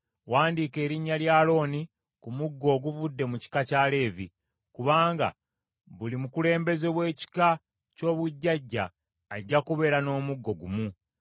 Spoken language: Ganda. Wandiika erinnya lya Alooni ku muggo oguvudde mu kika kya Leevi. Kubanga buli mukulembeze w’ekika ky’obujjajja ajja kubeera n’omuggo ggumu.